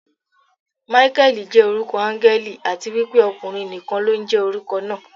Máíkẹ́lì jẹ́ orúkọ áńgẹ́lì, àti wípé ọkùnrin nìkan ló ń jẹ́ orúkọ náà.